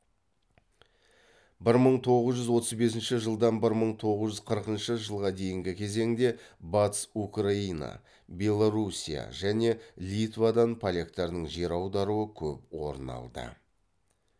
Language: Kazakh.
бір мың тоғыз жүз отыз бесінші жылдан бір мың тоғыз жүз қырқыншы жылға дейінгі кезеңде батыс украина белоруссия және литвадан поляктардың жер аударуы көп орын алды